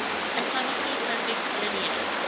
atomically perfect linear